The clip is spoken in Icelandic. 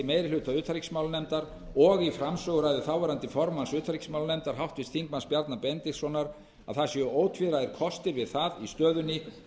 meirihluta utanríkismálanefndar og í framsöguræðu þáverandi formanns utanríkismálanefndar háttvirts þingmanns bjarna benediktssonar að það séu ótvíræðir kostir við það í stöðunni